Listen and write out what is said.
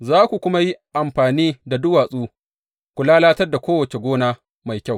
Za ku kuma yi amfani da duwatsu ku lalatar da kowace gona mai kyau.